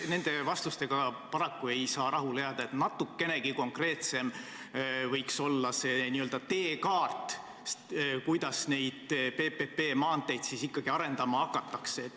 Nende vastustega paraku ei saa rahule jääda, natukenegi konkreetsem võiks olla see n-ö teekaart, kuidas neid PPP maanteid siis ikkagi arendama hakatakse.